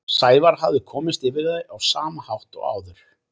Sævar hafði komist yfir þau á sama hátt og áður.